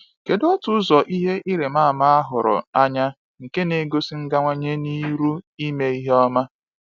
Kedụ otú ụzọ ihe nrimama ahụrụ anya nke n'egosi igawanye n'iru ime ihe ọma.